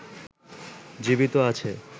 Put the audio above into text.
জীবিত আছে